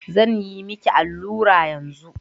Zan yi miki allura yanzu?